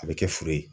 A bɛ kɛ furu ye